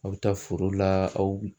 Aw bɛ taa foro la aw